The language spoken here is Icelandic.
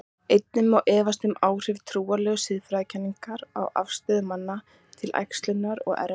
Einnig má efast um áhrif trúarlegra siðfræðikenninga á afstöðu manna til æxlunar og erfða.